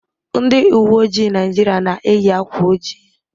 Ndị uwe ojii Naịjirịa na-eyi akwa ojii.